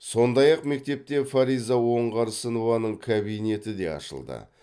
сондай ақ мектепте фариза оңғарсынованың кабинеті де ашылды